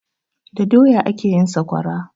Da doya ake yin saƙwara